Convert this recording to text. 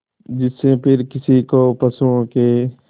जिससे फिर किसी को पशुओं के